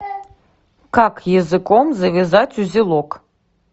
как языком завязать узелок